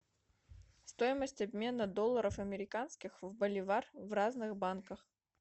стоимость обмена долларов американских в боливар в разных банках